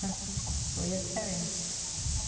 Hoje é diferente.